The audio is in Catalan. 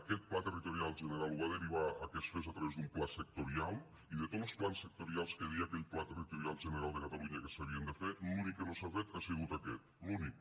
aquest pla territorial general ho va derivar a que es fes a través d’un pla sectorial i de tots los plans sectorials que deia aquell pla territorial general de catalunya que s’havien de fer l’únic que no s’ha fet ha sigut aquest l’únic